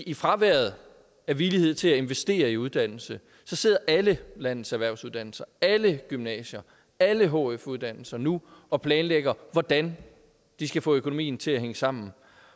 i fraværet af villighed til at investere i uddannelse sidder alle landets erhvervsuddannelser alle gymnasier alle hf uddannelser nu og planlægger hvordan de skal få økonomien til at hænge sammen